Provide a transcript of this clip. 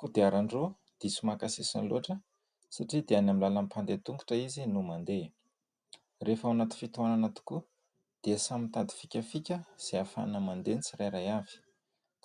Kodiarandroa diso maka sisiny lof atra satria dia any amin'ny làlan'ny mpandeha tongotra izy no mandeha. Rehefa ao anaty fitohanana tokoa dia samy mitady fikafika izay ahafahana mandeha ny tsirairay avy,